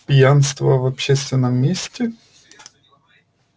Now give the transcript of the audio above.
пьянство в общественном месте